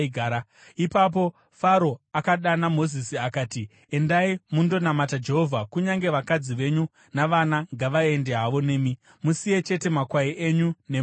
Ipapo Faro akadana Mozisi akati, “Endai mundonamata Jehovha. Kunyange vakadzi venyu navana vangaenda havo nemi; musiye chete makwai enyu nemombe.”